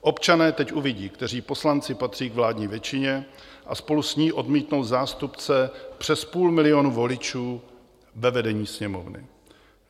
Občané teď uvidí, kteří poslanci patří k vládní většině a spolu s ní odmítnou zástupce přes půl milionu voličů ve vedení Sněmovny.